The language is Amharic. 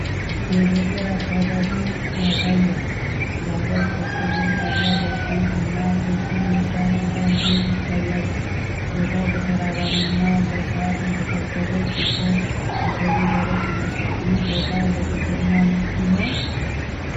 የገጠር አካባቢን ያሳያል። ባለ ቆርቆሮ ጣሪያ ቤት እና ክብ የሳር ክዳን ቤት ይታያሉ። ቦታው በተራራና በሳር የተከበበ ሲሆን፣ አፈሩ ደረቅ ይመስላል። ይህ ቦታ ለግብርና ምቹ ነው?